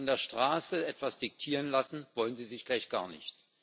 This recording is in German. Und von der Straße etwas diktieren lassen wollen Sie sich gleich gar nicht.